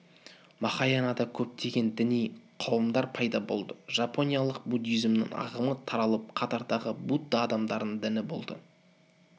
махаянада көптеген діни қауымдар пайда болды жапониялық буддизмнің ағымы таралып қатардағы будда адамдарының діні болды